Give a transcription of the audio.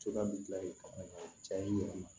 Cogoya bɛ kila yen ka taga yen yɛrɛ